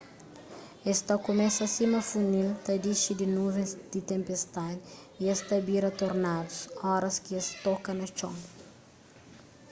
es ta kumesa sima funil ta dixi di nuvens di tenpestadi y es ta bira tornadus óras ki es toka na txon